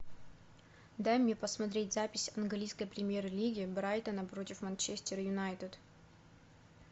дай мне посмотреть запись английской премьер лиги брайтон против манчестер юнайтед